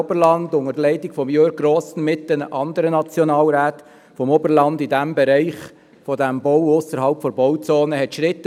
Der dritte Punkt wurde dann mit 5 Ja-, 7 Nein-Stimmen und 1 Enthaltung abgelehnt.